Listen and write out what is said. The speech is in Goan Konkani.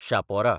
शापोरा